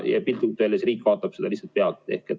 Piltlikult öeldes riik ei saa seda lihtsalt pealt vaadata.